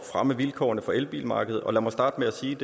fremme vilkårene for elbilmarkedet og lad mig starte med at sige